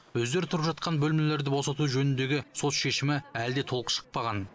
өздері тұрып жатқан бөлмелерді босату жөніндегі сот шешімі әлі де толық шықпаған